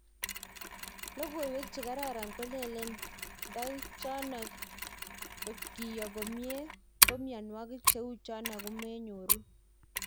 Logowek che karan kolele ngedek chano kotgeyoo komien ko miandwokik cheu chano komeyoru